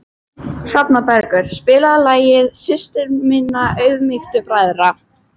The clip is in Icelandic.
Hrafnbergur, spilaðu lagið „Systir minna auðmýktu bræðra“.